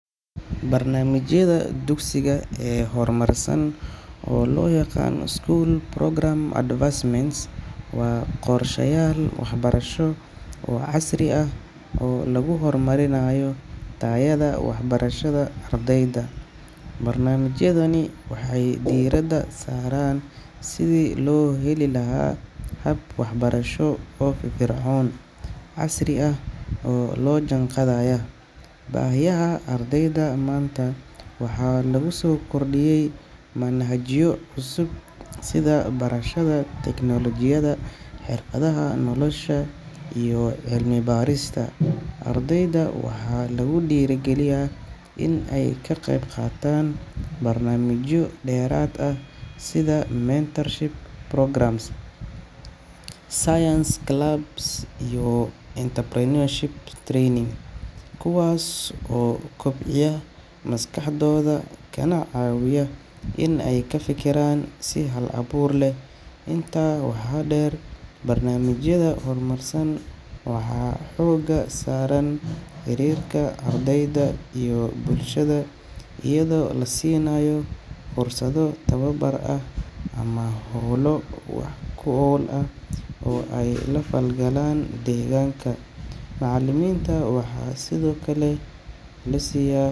Barnaamijyada dugsiga ee horumarsan, oo loo yaqaan school programme advancements, waa qorshayaal waxbarasho oo casri ah oo lagu horumarinayo tayada waxbarashada ardayda. Barnaamijyadani waxay diiradda saaraan sidii loo heli lahaa hab waxbarasho oo firfircoon, casri ah, oo la jaanqaadaya baahiyaha ardayda maanta. Waxaa lagu soo kordhiyey manhajyo cusub, sida barashada tiknoolajiyada, xirfadaha nolosha, iyo cilmi-baarista. Ardayda waxaa lagu dhiirrigeliyaa inay ka qaybqaataan barnaamijyo dheeraad ah sida mentorship programmes, science clubs, iyo entrepreneurship training, kuwaas oo kobciya maskaxdooda kana caawiya inay ka fekeraan si hal-abuur leh. Intaa waxaa dheer, barnaamijyada horumarsan waxay xooga saaraan xiriirka ardayda iyo bulshada, iyadoo la siinayo fursado tababar ah ama hawlo wax ku ool ah oo ay la falgalaan deegaanka. Macallimiinta waxaa sidoo kale la siiyaa.